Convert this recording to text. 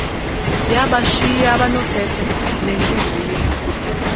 yabashiya abanofefe nentliziyo